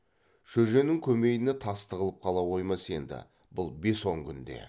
шөженің көмейіне тас тығылып қала қоймас енді бұл бес он күнде